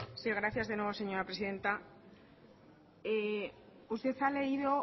sí gracias de nuevo señora presidenta usted ha leído